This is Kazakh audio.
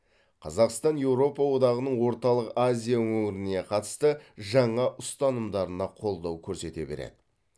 қазақстан еуропа одағының орталық азия өңіріне қатысты жаңа ұстанымдарына қолдау көрсете береді